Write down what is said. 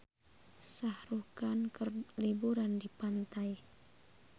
Shah Rukh Khan keur liburan di pantai